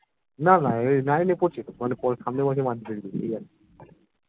না না এই nine এ পড়ছে তো মানে সামনের বছর মাধ্যমিক দেবে এই আরকি